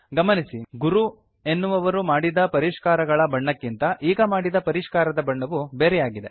ಗಮನಿಸಿ ಗುರು ಎನ್ನುವವರು ಮಾಡಿದ ಪರಿಷ್ಕಾರಗಳ ಬಣ್ಣಕ್ಕಿಂತ ಈಗ ಮಾಡಿದ ಪರಿಷ್ಕಾರದ ಬಣ್ಣವು ಬೇರೆಯಾಗಿದೆ